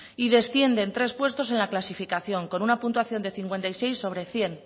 y descienden tres puestos en la clasificación con una puntuación de cincuenta y seis sobre cien